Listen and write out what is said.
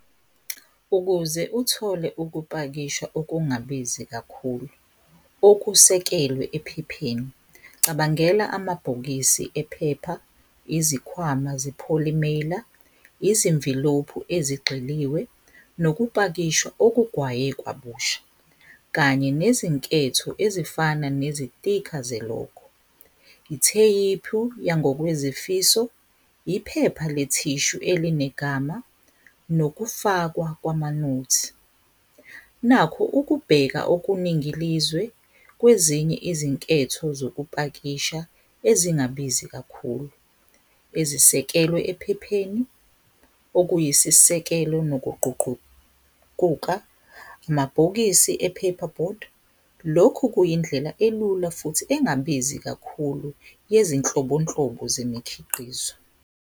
Ukuze uthole ukupakisha okungabizi kakhulu okusekelwe ephepheni, cabangela amabhokisi ephepha, izikhwama zepholimeyila, izimvilophu ezigxiliwe, nokupakishwa okugwaye kwabusha kanye nezinketho ezifana nezitikha zelogo, itheyiphu yangokwezifiso, iphepha lethishu elinegama, nokufakwa kwamanzi. Nakhu ukubheka okuningilizwe kwezinye izinketho zokupakisha ezingabizi kakhulu ezisekelwe ephepheni, okuyisisekelo, nokugqugqukuka, amabhokisi e-paper board, lokhu kuyindlela elula futhi engabizi kakhulu yezinhlobonhlobo zemikhiqizo.